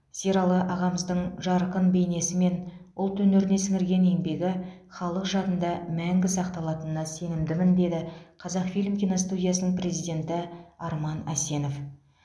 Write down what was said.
сералы ағамыздың жарқын бейнесі мен ұлт өнеріне сіңірген еңбегі халық жадында мәңгі сақталатынына сенімдімін деді қазақфильм киностудиясының президенті арман әсенов